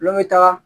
Lu bɛ taga